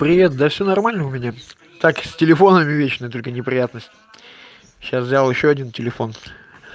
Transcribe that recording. привет да все нормально у меня так с телефонами вечно только неприятность сейчас взял ещё один телефон